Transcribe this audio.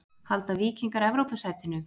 Halda Víkingar Evrópusætinu?